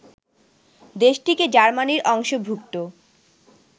দেশটিকে জার্মানির অংশভুক্ত